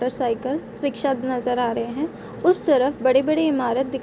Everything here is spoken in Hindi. तू साइकिल रिक्शा भी नजर आ रहे हैं उसे तरफ बड़े-बड़े इमारत दिख --